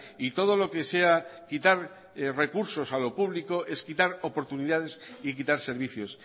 y todo lo que sea quitar recursos a lo público es quitar oportunidades y quitar servicios